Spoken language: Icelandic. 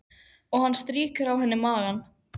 Og hann strýkur á henni magann.